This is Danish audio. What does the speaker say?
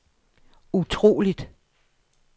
utroligt